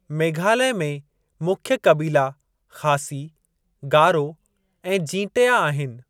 मेघालय में मुख्य क़बीला ख़ासी, गारो ऐं जींटया आहिनि।